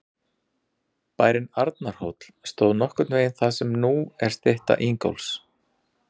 Bærinn Arnarhóll stóð nokkurn veginn þar sem nú er stytta Ingólfs.